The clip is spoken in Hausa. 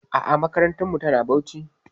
A'a makarantarmu tana Bauchi.